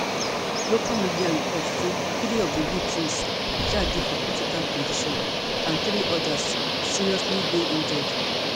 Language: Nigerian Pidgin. local media reports say three of di victims um dey for critical condition and three odas seriously dey injured